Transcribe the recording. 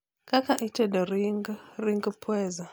kaka itedo ring ring pweza